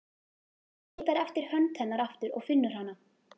Hann leitar eftir hönd hennar aftur og finnur hana.